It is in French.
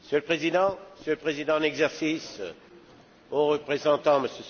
Monsieur le Président, Monsieur le Président en exercice, Haut représentant, M.